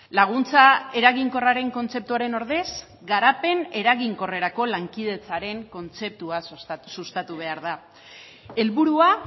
laguntza eraginkorraren kontzeptuaren ordez garapen eraginkorrerako lankidetzaren kontzeptua sustatu behar da helburua